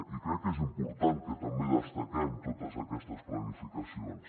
i crec que és important que també destaquem totes aquestes planificacions